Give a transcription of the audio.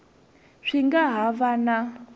swi nga ha va na